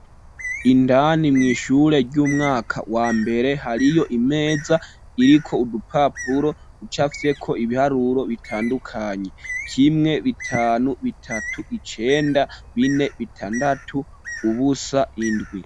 Indani mw'ishure ry'umwaka wa mbere hariyo imeza iriko udupapuro ducafyeko ibiharuro bitandukanye kimwe, bitanu, bitatu, icenda, bine, bitandatu, ubusa, indwi.